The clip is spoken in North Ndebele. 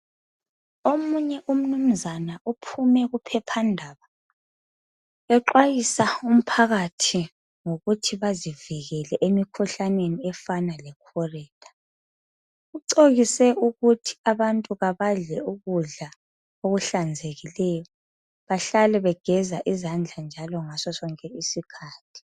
Omunye umnunzana uphume kuphephandaba exwayisa umphakathi ngokuthi bazivikele emkhuhlaneni efana lecholera. Ucebise ukuthi abantu abadle ukudla okuhlanzekileyo bahlale begeza izandla njalo ngasosonke isikhathi.